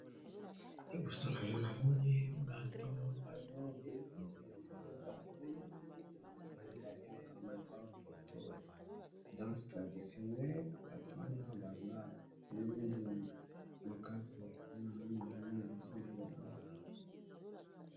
Liboso na ngai namoni bato bazobina bango bazobina oyo babengaka na monoko ya lopoto danse traditionnele, bato wana baza mwindu makasi nde namoni bango liboso na ngai awa.